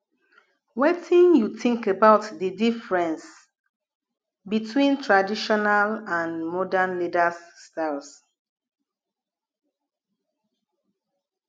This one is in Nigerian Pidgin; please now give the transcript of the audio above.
wetin you think about di difference between traditional and modern leaders styles